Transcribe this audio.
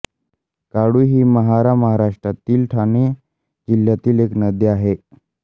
काळू ही महारामहाराष्ट्रा तील ठाणे जिल्ह्यातील एक नदी आहे